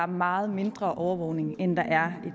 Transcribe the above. meget mindre overvågning end der er